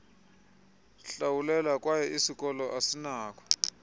hlawulelwa kwye isikoloasinako